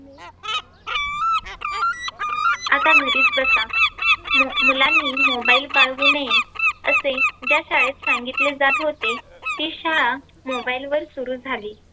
आता घरीच बसा. म मुलांनी Mobile बाळगू नये असे ज्या शाळेत सांगितले जात होते ती शाळा Mobile वर सुरु झाली.